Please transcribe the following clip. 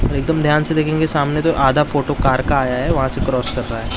एक दम ध्यान से देखेंगे सामने तो आधा फोटो कार का आया है वहां से क्रॉस कर रहा है।